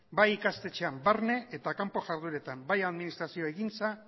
bai ikastetxean barne eta kanpo jarduretan bai administrazio egintza